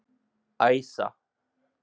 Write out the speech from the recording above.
Æsa